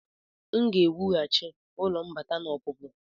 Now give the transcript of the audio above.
M ga-ewughachi ụlọ mbata na ọpụpụ.